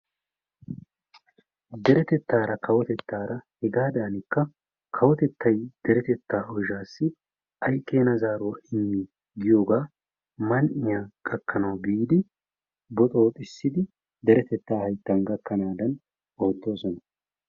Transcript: Deretettara kawotettara hegadanikka kawotettay deretetta oyshshassi ay keena zaaruwa immi giyoogaa man''iyaa gakanaw biidi boxxoxissidi deretetta hayttan gakanadan oottoosona.